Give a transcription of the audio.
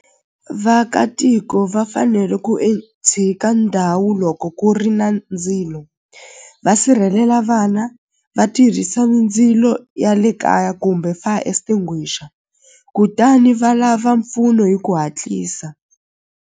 Vaakatiko va fanele ku tshika ndhawu loko ku ri na ndzilo va sirhelela vana va tirhisa ndzilo ya le kaya kumbe fire extinguisher kutani va lava mpfuno hi ku hatlisa.